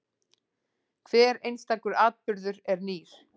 Hver einstakur atburður er nýr.